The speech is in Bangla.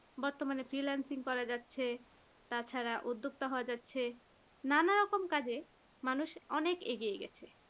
বর্তমানে freelancing করা যাচ্ছে তাছাড়া উদ্যোক্তা হওয়া যাচ্ছে নানা রকম কাজে মানুষ অনেক এগিয়ে গেছে